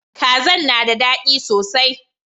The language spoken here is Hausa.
Kazan na da dadi sosai.